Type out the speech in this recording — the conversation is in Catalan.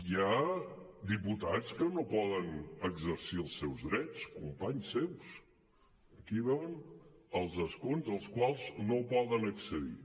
hi ha diputats que no poden exercir els seus drets companys seus aquí veuen els escons als quals no poden accedir